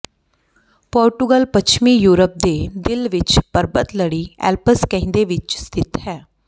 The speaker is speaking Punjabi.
ਪੋਰਟੁਗਲ ਪੱਛਮੀ ਯੂਰਪ ਦੇ ਦਿਲ ਵਿੱਚ ਪਰਬਤ ਲੜੀ ਐਲਪਸ ਕਹਿੰਦੇ ਵਿੱਚ ਸਥਿਤ ਹੈ